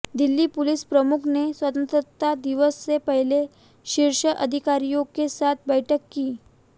Delhi police प्रमुख ने स्वतंत्रता दिवस से पहले शीर्ष अधिकारियों के साथ बैठक की